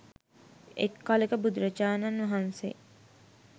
එක් කලෙක බුදුරජාණන්වහන්සේ